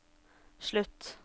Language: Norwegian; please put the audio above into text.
slutt